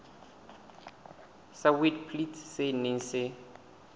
sa witblits se neng se